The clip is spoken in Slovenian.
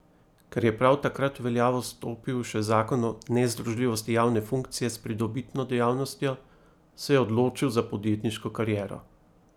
Ker je prav takrat v veljavo stopil še zakon o nezdružljivosti javne funkcije s pridobitno dejavnostjo, se je odločil za podjetniško kariero.